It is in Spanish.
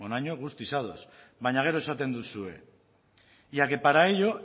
honaino guztiz ados baina gero esaten duzue y a que para ello